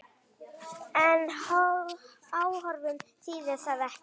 En áform þýðir það ekki.